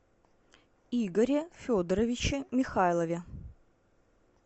игоре федоровиче михайлове